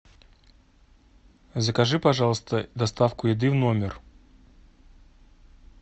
закажи пожалуйста доставку еды в номер